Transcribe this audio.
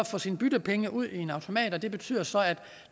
få sine byttepenge ud i en automat det betyder så at